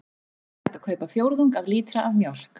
Þó er hægt að kaupa fjórðung af lítra af mjólk.